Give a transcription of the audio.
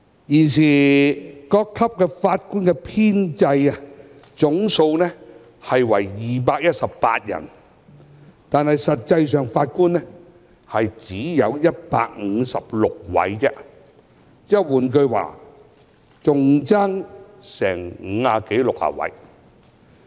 現時各級法官的編制總數為218人，但實際人數只有156人，換言之，空缺達五六十人。